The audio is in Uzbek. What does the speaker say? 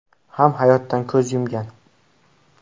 ham hayotdan ko‘z yumgan.